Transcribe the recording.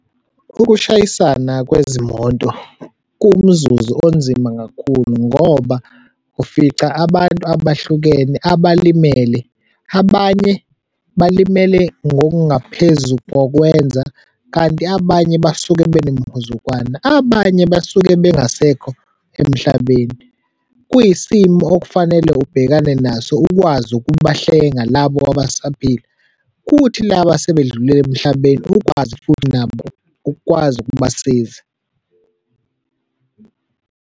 Ukushayisana kwezimoto kuwumzuzu onzima kakhulu ngoba ufica abantu abahlukene abalimele, abanye balimele ngokungaphezu kokwenza kanti abanye basuke benemhuzukwana, abanye basuke bengasekho emhlabeni. Kuyisimo okufanele ubhekane naso ukwazi ukubahlenga labo abasaphili kuthi laba asebedlulile emhlabeni ukwazi futhi nabo ukwazi ukubasiza.